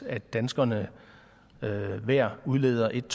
at danskerne hver udleder en